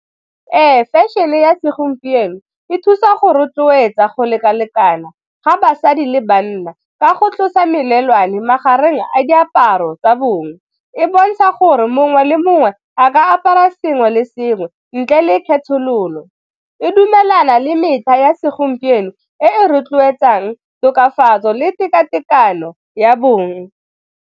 Ee, fashion-e ya segompieno e thusa go rotloetsa go lekalekana ga basadi le banna ka go tlosa melelwane magareng a diaparo tsa bong, e bontsha gore mongwe le mongwe a ka apara sengwe le sengwe ntle le kgethololo, e dumelana le metlha ya segompieno e rotloetsang tokafatso le tekatekano ya bong.